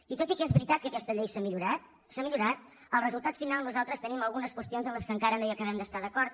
i tot i que és veritat que aquesta llei s’ha millorat s’ha millorat el resultat final nosaltres tenim algunes qüestions en les quals encara no hi acabem d’estar d’acord